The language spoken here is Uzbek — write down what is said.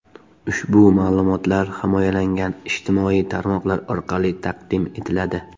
Ushbu ma’lumotlar himoyalangan ijtimoiy tarmoqlar orqali taqdim etiladi.